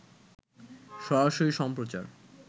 সরাসরি সম্প্রচার